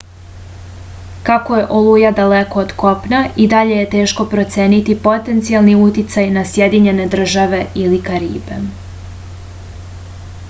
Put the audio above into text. kako je oluja daleko od kopna i dalje je teško proceniti potencijalni uticaj na sjedinjene države ili karibe